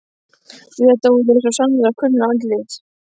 Jú, þetta voru svo sannarlega kunnugleg andlit.